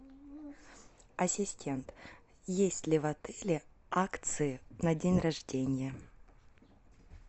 ассистент есть ли в отеле акции на день рождения